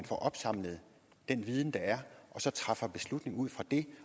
får opsamlet den viden der er og så træffe beslutning ud fra det